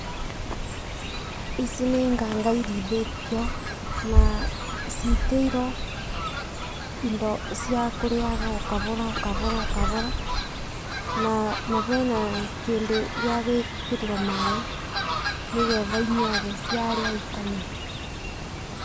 Ici nĩ nganga irĩithĩtio, na citĩirwo indo cia kũrĩyaga o kabora, o kabora o kabora. Na bena kĩndũ gĩa gwĩkĩrĩrwo maaĩ nĩ getha inyuage ciarĩa ikanyua.